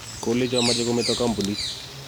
kolecho mache kometo kampunit